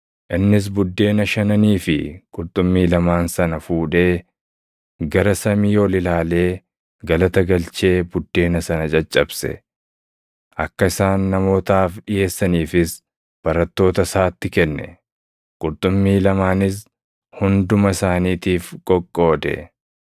Innis buddeena shananii fi qurxummii lamaan sana fuudhee, gara samii ol ilaalee galata galchee buddeena sana caccabse. Akka isaan namootaaf dhiʼeessaniifis barattoota isaatti kenne. Qurxummii lamaanis hunduma isaaniitiif qoqqoode.